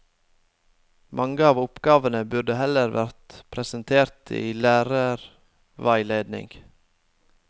Mange av oppgavene burde heller vært presentert i en lærerveiledning.